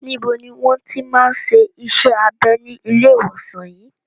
Níbo ni wọ́n ti máa ń ṣe iṣẹ́ abẹ ní ilé ìwòsàn yìí?